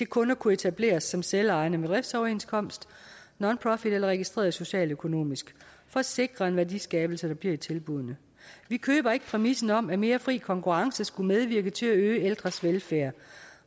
kun kunne etableres som selvejende institutioner med driftsoverenskomst nonprofit eller registreret socialøkonomisk for at sikre en værdiskabelse der bliver i tilbuddene vi køber ikke præmissen om at mere fri konkurrence skulle medvirke til at øge ældres velfærd